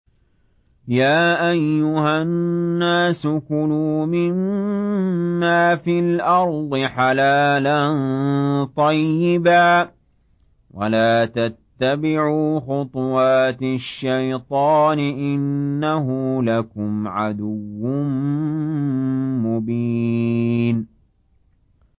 يَا أَيُّهَا النَّاسُ كُلُوا مِمَّا فِي الْأَرْضِ حَلَالًا طَيِّبًا وَلَا تَتَّبِعُوا خُطُوَاتِ الشَّيْطَانِ ۚ إِنَّهُ لَكُمْ عَدُوٌّ مُّبِينٌ